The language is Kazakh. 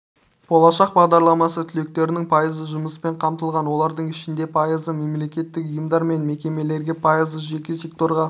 болашақ бағдарламасы түлектерінің пайызы жұмыспен қамтылған олардың ішінде пайызы мемлекеттік ұйымдар мен мекемелерге пайызы жеке секторға